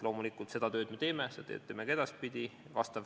Loomulikult me seda tööd teeme, teeme seda ka edaspidi.